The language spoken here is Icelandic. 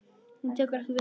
Hún tekur ekki við því.